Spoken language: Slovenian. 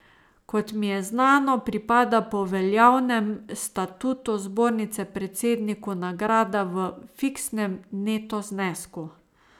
Kot mi je znano, pripada po veljavnem statutu zbornice predsedniku nagrada v fiksnem neto znesku.